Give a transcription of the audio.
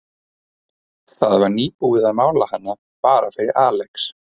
Það var nýbúið að mála hana, bara fyrir Alex.